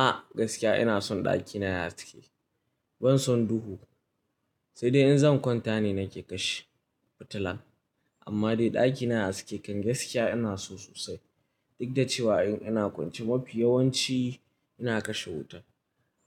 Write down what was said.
A gaskiya ina son ɗakina yayi haske, ban son duhu sai dai in zan kwanta ne nake kashe fitila. Amma dai ɗakina yayi haske kan gaskiya ina so sosai. Duk da cewa in ina kwance mafi yawanci ina kashe wuta.